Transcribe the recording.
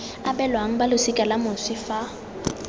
abelwang balosika la moswi fa